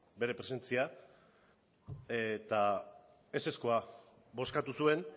bere presentzia eta ezezkoa bozkatu zuen